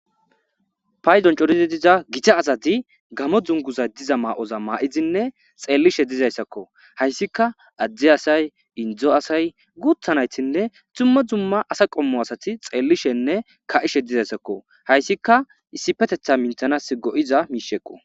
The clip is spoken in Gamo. Paydon coridi diza gita asati gamo duguza mayiza mayidinne xelishe dizaysako haysaika ade asat indo asay gutha naytinne dumma dumma asa qommo asati xelishenne ka'ishe dizaysako haysika issipeteha micanas go'oizaysako